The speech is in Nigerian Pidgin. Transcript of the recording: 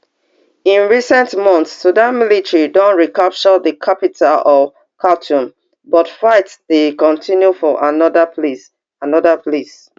in recent months sudan military don recapture di capital of khartoum but fight dey kotinu for anoda place anoda place